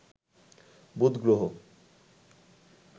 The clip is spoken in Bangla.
বুধ গ্রহ